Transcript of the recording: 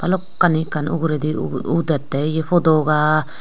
bhalokkani ekkan uguredi au au udette ye potoka.